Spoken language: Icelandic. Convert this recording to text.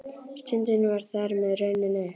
Stundin var þar með runnin upp.